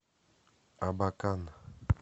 абакан